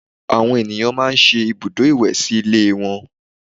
Àwọn ènìyàn máa ń ṣe ibùdó ìwẹ̀ sí ilé wọn